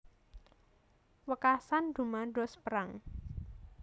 Wekasan dumados perang